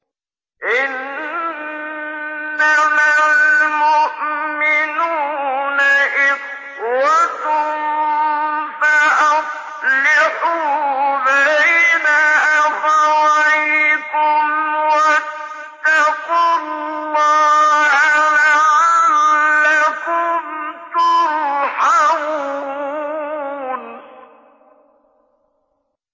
إِنَّمَا الْمُؤْمِنُونَ إِخْوَةٌ فَأَصْلِحُوا بَيْنَ أَخَوَيْكُمْ ۚ وَاتَّقُوا اللَّهَ لَعَلَّكُمْ تُرْحَمُونَ